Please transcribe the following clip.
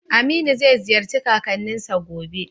Aminu zai ziyarci kakanninsa gobe.